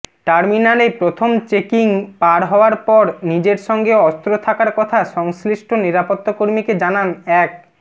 টার্মিনালে প্রথম চেকিং পার হওয়ার পর নিজের সঙ্গে অস্ত্র থাকার কথা সংশ্লিষ্ট নিরাপত্তকর্মীকে জানান এক